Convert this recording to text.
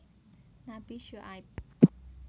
Nabi Syuaib